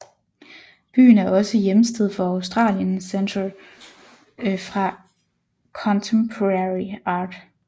Byen er også hjemsted for Australian Centre for Contemporary Art